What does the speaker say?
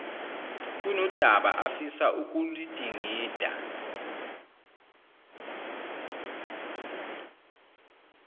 kunodaba afisa ukuludingida